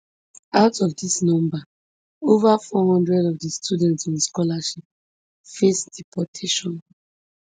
out of dis number ova four hundred of di students on scholarship face deportation